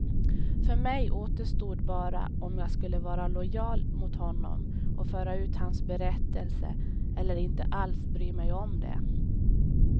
För mig återstod bara om jag skulle vara lojal mot honom och föra ut hans berättelse, eller inte alls bry mig om det.